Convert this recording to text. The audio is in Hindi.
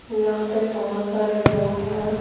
यहाँ पे बहुत सारे लोग हैं।